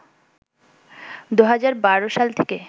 ২০১২ সাল থেকে